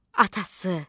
Atası.